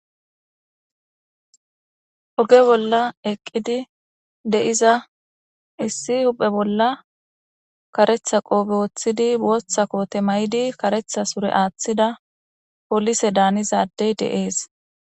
oge bolla eqqidi de7iza issi huphe bolla karetha qoofe wooththidi bootha koote may7di karetha sure aaththida polise daanizadey de7ees